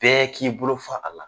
Bɛɛ k'i bolo fa a la.